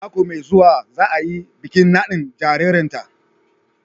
Mako mai zuwa za a yi bikin nadin jaririnta